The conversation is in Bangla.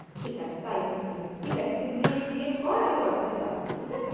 ঠিক আছে তাই হোক তাই হোক, ঠিক আছে তুই crea~ create কর আমি Whatsapp এ আসছি ঠিক আছে?